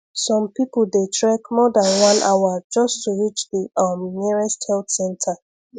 some people dey trek more than one hour just to reach the um nearest health center